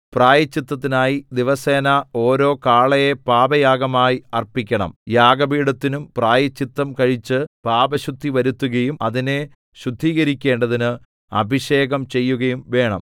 പ്രായശ്ചിത്തത്തിനായി ദിവസേന ഓരോ കാളയെ പാപയാഗമായി അർപ്പിക്കണം യാഗപീഠത്തിനും പ്രായശ്ചിത്തം കഴിച്ച് പാപശുദ്ധി വരുത്തുകയും അതിനെ ശുദ്ധീകരിക്കേണ്ടതിന് അഭിഷേകം ചെയ്യുകയും വേണം